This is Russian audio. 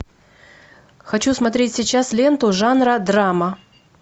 хочу смотреть сейчас ленту жанра драма